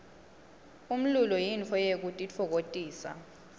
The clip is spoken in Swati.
umlulo yintfo yekutitfokotisa